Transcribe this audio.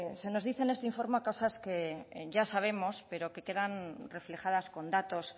se nos dice en este informe cosas que ya sabemos pero que quedan reflejadas con datos